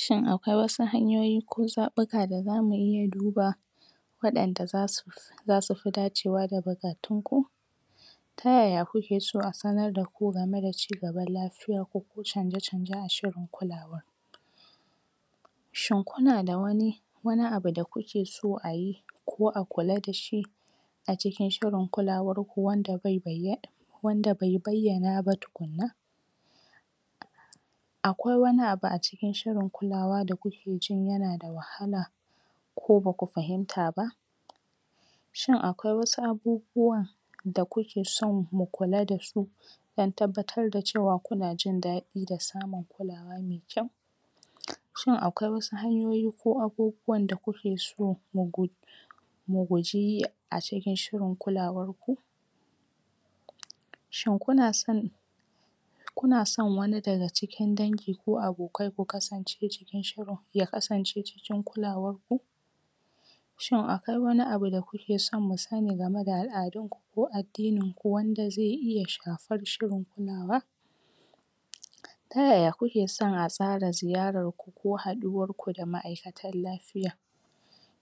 Shin akwai wasu hanyoyi ko zaɓuka da zamu iya duba waɗanda zasu zasufi dacewa da bukatunku? Ta yaya kukeso a sanar daku game da ci gaban lafiyanku ko canje-canje a shirin kulawa? Shin kuna da wani wani abu da kuke so ayi ko a kula dashi a cikin shirin kulawarku wanda bai bayyan.. wanda bai bayyana ba tukunna? Akwai wani abu a cikin shirin kulawa da kukejin yana da wahala ko baku fahinta ba? Shin akwai wasu abubuwa da kukeson ku kula dasu don tabbatar da cewa kuna jin daɗi da samun kulawa mai kyau? um shin akwai wasu hanyoyi ko abubuwan da kukeso mu gud.. mu guji yi a cikin shirin kulawar ku? Shin kunason kunason wani daga cikin dangi ko abokai ku kasance cikin shirin.. ya kasance cikin kulawarku? Shin akwai wani abu da kukeso mu sani game da al'adunku ko addininku wanda zai iya shafar shirin kulawa? um Tayaya kukeson a tsara ziyararku ko haduwarku da ma'aikatan lafiya?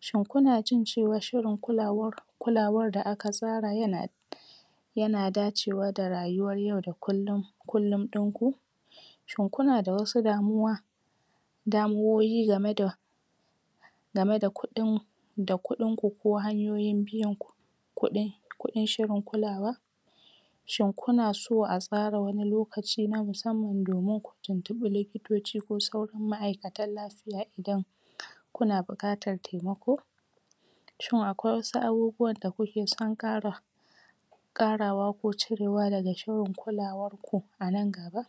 Shin kunajin cewa shirin kulawar kulawar da aka tsara yana t.. yana dacewa da rayuwar yau da kullum kullum ɗinku? Shin kuna da wasu damuwa damuwoyi game da game da kuɗink da kudinku ko hanyoyin biyan ku kuɗin kudin shirin kulawa? Shin kunaso a tsara wani lokaci na musamman domin ku tuntuɓi likitoci ko sauran ma'aikatan lafiya idan kuna bukatar temako? Shin akwai wasu abubuwan da kuke son kara karawa ko cirewa daga a shirin kulawarku a nan gaba? um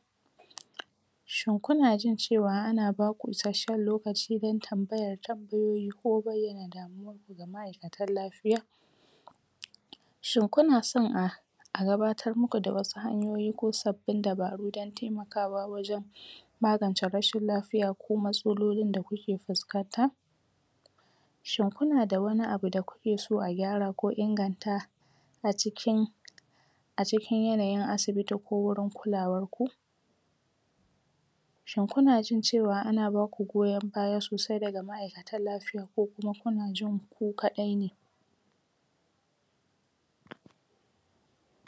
Shin kuna jin cewa ana baku isashshen lokaci don tambaya da tambayoyi ko bayyana damuwarku ga ma'aikatan lafiya? um Shin kunason a a gabatar muku da wasu hanyoyi ko sabbin dabaru don temakawa wajen magance rashin lafiya ko matsalolin da kuke fuskanta? Shin kuna da wani abu da kukeson a gyara ko inganta a cikin a cikin yanayin asibiti ko wurin kulawarku? Shin kuna jin cewa ana baku goyon baya sosai daga ma'aikatan lafiya ko kuma kuna jinku ku kadai ne? pause